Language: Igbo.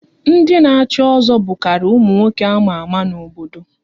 Ndị na echi ozo bukariri ụmụ nwoke ama ama n'obodo